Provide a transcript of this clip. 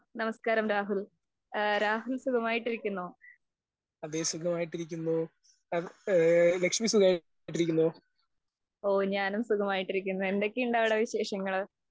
നമസ്കാരം, രാഹുൽ സുഖമായിട്ടിരിക്കുമോ? ഓ, ഞാനും സുഖമായിട്ടിരിക്കുന്നു. എന്തൊക്കെയുണ്ട് അവിടെ വിശേഷങ്ങൾ?